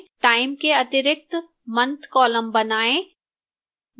time के अतिरिक्त month column बनाएं